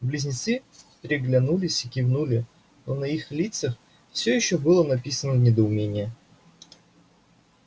близнецы переглянулись и кивнули но на их лицах всё ещё было написано недоумение